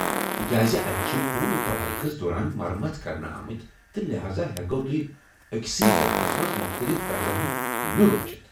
تِکیازِ اتہِ چھِ پوٗرٕ توٲریخس دوران مرمت كرنہٕ آمٕتۍ ، تہٕ لحاذا ، ہیكِو تُہۍ اكِسٕے ڈانچس منز مختلِف طرزن ہُند مِیُل وُچھِتھ ۔